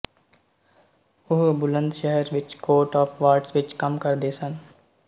ਉਹ ਬੁਲੰਦਸ਼ਹਰ ਵਿੱਚ court of wards ਵਿੱਚ ਕੰਮ ਕਰਦੇ ਸਨ